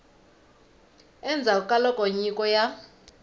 endzhaku ka loko nyiko ya